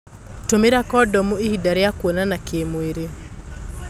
Tũmĩra Kondomu ihinda rĩa kuonana kĩmwĩri.